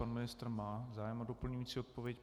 Pan ministr má zájem o doplňující odpověď.